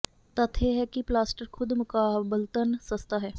ਤੱਥ ਇਹ ਹੈ ਕਿ ਪਲਾਸਟਰ ਖੁਦ ਮੁਕਾਬਲਤਨ ਸਸਤਾ ਹੈ